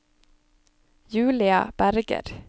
Julia Berger